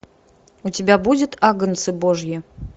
у тебя будет агнцы божьи